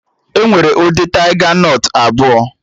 Enwere ụdị taiga nọt abụọ